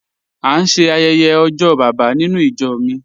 A n ṣẹ ayẹyẹ ojó baba nínú ìjọ́ mi